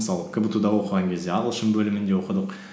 мысалы кбту да оқыған кезде ағылшын бөлімінде оқыдық